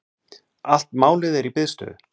Allt málið er í biðstöðu.